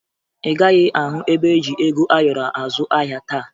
Ị gaghị ahụ ebe eji ego ayọrọ azụ ahịa taa